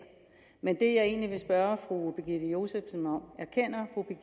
men det jeg egentlig vil spørge fru birgitte josefsen om